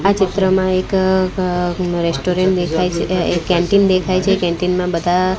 આ ચિત્રમાં એક અ અ રેસ્ટોરન્ટ દેખાય છે એક કેન્ટીન દેખાય છે કેન્ટિંગ માં બધા --